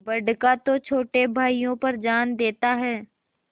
बड़का तो छोटे भाइयों पर जान देता हैं